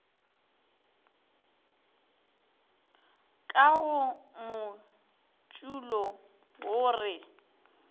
ka go motšulo wo re